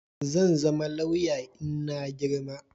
zanzama lauya inna girma